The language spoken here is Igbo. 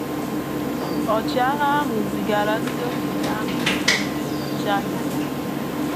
Ọchịagha ahụ zigara ndị okenye ahụ dị ka ndị nnọchianya ya.